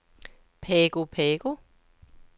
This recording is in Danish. Pago Pago